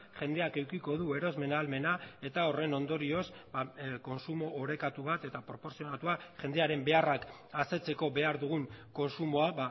jendeak edukiko du erosmen ahalmena eta horren ondorioz kontsumo orekatu bat eta proportzionatua jendearen beharrak asetzeko behar dugun kontsumoa